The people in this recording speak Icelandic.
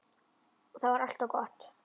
Það var alltaf gott.